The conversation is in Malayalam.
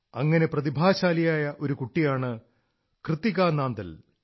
അങ്ങനെ പ്രതിഭാശാലിയായ ഒരു കുട്ടിയാണ് കൃത്തികാ നാന്ദൽ